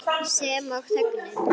Sem og þögnin.